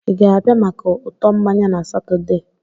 Ị ga-abịa maka ụtọ mmanya na Satọde?